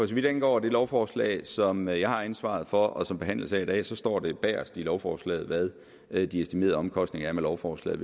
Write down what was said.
vidt angår det lovforslag som jeg jeg har ansvaret for og som behandles her i dag så står det bagest i lovforslaget hvad de estimerede omkostninger ved lovforslaget